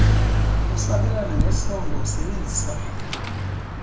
usabelana ngesondo usebenzisa